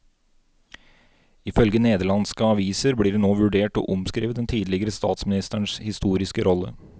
Ifølge nederlandske aviser blir det nå vurdert å omskrive den tidligere statsministerens historiske rolle.